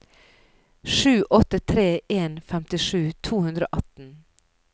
sju åtte tre en femtisju to hundre og atten